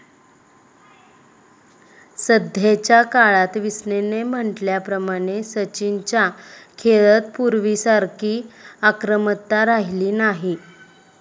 सध्याच्या काळात, विस्डेनने म्हंटल्या प्रमाणे, सचिनच्या खेळत पूर्वीसारखी आक्रमकता राहिली नाही.